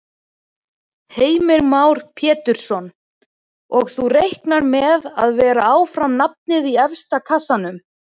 Heimir Már Pétursson: Og þú reiknar með að vera áfram nafnið í efsta kassanum?